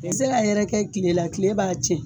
I tɛ se k'a yɛrɛkɛ tile la tile b'a tiɲɛ